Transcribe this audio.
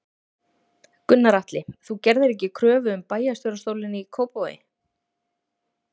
Gunnar Atli: Þú gerðir ekki kröfu um bæjarstjórastólinn í Kópavogi?